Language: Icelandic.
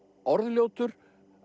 orðljótur